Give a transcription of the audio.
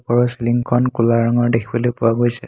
ওপৰৰ চিলিঙখন ক'লা ৰঙৰ দেখিবলৈ পোৱা গৈছে।